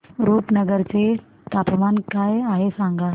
रुपनगर चे तापमान काय आहे सांगा